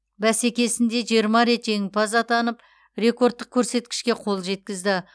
бәсекесінде жиырма рет жеңімпаз атанып рекордтық көрсеткішке қол жеткізді